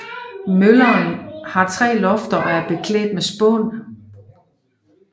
Møllen har tre lofter og er beklædt med spån